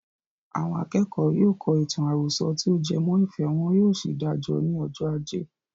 Àwọn akẹ́kọ̀ọ́ yóò kọ ìtàn àròsọ tí o jẹ mọ́ ìfẹ́, wọn yóò sì dáa jọ ní ọjọ́ ajé.